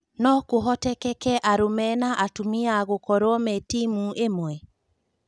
No kũhotekeke arũme na atumia gũkorwo me timu ĩmwe ?